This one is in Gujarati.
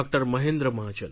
મહેન્દ્ર મહાજન